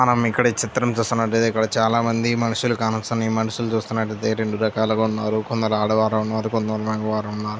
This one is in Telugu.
మనం ఇక్కడ ఈ చిత్రం చూస్తున్నట్టయితే ఇక్కడ చాలా మంది మనుసులు కానోస్తన్నారు. ఈ మనుసులు చూస్తున్నటైతే రెండు రకాలుగా ఉన్నారు. కొందరు ఆడవారు ఉన్నారు కొంతమంది మగవారు ఉన్నారు.